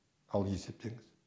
ал есептеңіз